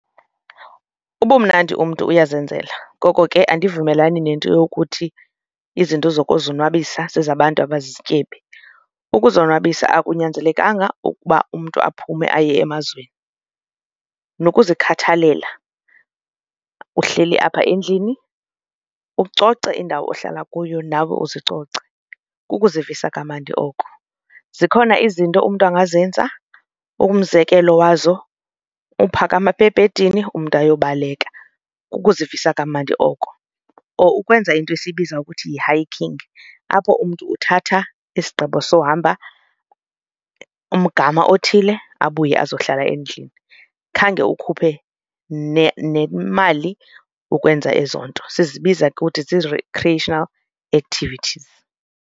Ubumnandi umntu uyazenzela ngoko ke andivumelani nento yokuthi izinto zokuzonwabisa zezabantu abazizityebi. Ukuzonwabisa akunyanzelekanga ukuba umntu aphume aye emazweni, nokuzikhathalela uhleli apha endlini ucoce indawo ohlala kuyo nawe azicoce kukuzivisa kamandi oko. Zikhona izinto umntu angazenza umzekelo wazo uphakama apha ebhedini umntu ayobaleka kukuzivisa kamnandi oko or ukwenza into esiyibiza ukuthi yi-hiking apho umntu uthatha isigqibo sohamba umgama othile abuye azohlala endlini. Khange ukhuphe nemali ukwenza ezo nto sizibiza kuthi zii-recreation activities.